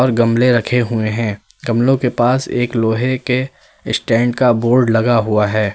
और गमले रखे हुए हैं। गमलो के पास एक लोहे के स्टैंड का बोर्ड लगा हुआ है।